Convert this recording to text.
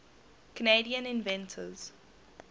canadian inventors